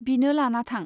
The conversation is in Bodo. बिनो लाना थां।